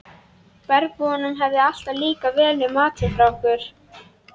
Bergbúunum hefur alltaf líkað vel við matinn frá okkur.